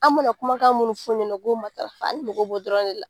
An mana kumakan munnu fɔ o ɲɛna u k'o matarafa an mago b'o dɔrɔn de la.